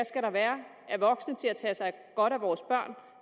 skal være af voksne til at tage sig godt af vores børn